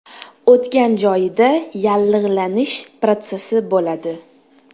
O‘tgan joyida yallig‘lanish protsessi bo‘ladi.